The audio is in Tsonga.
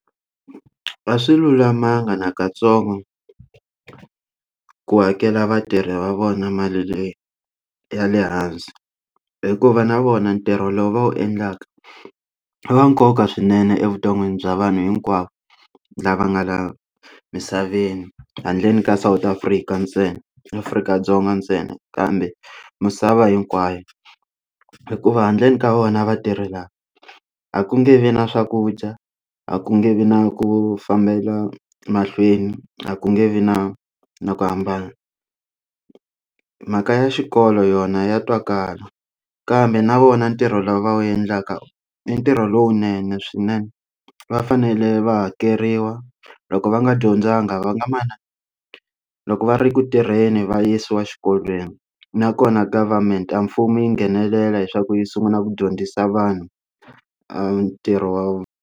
A swi lulamanga na katsongo ku hakela vatirhi va vona mali ya le hansi hikuva na vona ntirho lowu va wu endlaka va nkoka swinene evuton'wini bya vanhu hinkwavo lava nga la misaveni handleni ka South Afrika ntsena Afrika-Dzonga ntsena kambe misava hinkwayo hikuva handleni ka vona va tirhela a ku nge vi na swakudya a ku nge vi na ku fambela mahlweni a ku nge vi na na ku hambana mhaka ya xikolo yona ya twakala kambe na vona ntirho lowu va wu endlaka i ntirho lowunene swinene va fanele va hakeriwa loko va nga dyondzanga va nga loko va ri ku tirheni va yisiwa xikolweni nakona government a mfumo yi nghenelela leswaku yi sungula ku dyondzisa vanhu ntirho wa.